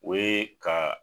O ye ka.